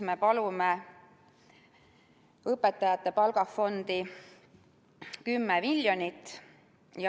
Me palume õpetajate palgafondi 10 miljonit.